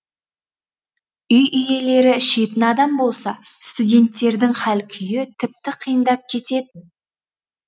үй иелері ішетін адамдар болса студенттердің хал күйі тіпті қиындап кететін